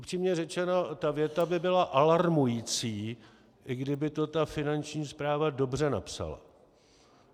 Upřímně řečeno, ta věta by byla alarmující, i kdyby to ta Finanční správa dobře napsala.